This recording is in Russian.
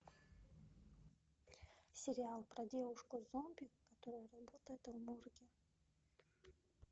сериал про девушку зомби которая работает в морге